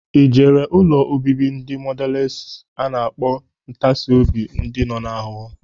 Ijere ụlọ obibi ndị mọdales a na-akpọ ntasi obi ndi nọ n'ahụhụ?